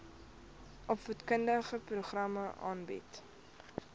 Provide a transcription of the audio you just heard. opvoedkundige programme aanbied